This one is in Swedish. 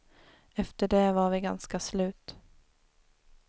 Efter det var vi ganska slut.